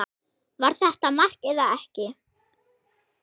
Var þetta mark eða ekki?